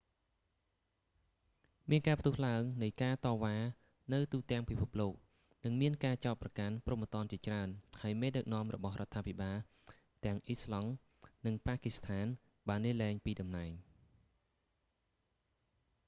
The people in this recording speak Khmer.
មានការផ្ទុះឡើងនៃការតវ៉ានៅទូទាំងពិភពលោក និងការចោទប្រកាន់ព្រហ្មទណ្ឌជាច្រើន ហើយមេដឹកនាំរបស់រដ្ឋាភិបាលទាំងអ៊ីស្លង់ និង ប៉ាគីស្ថានបានលាលែងពីតំណែង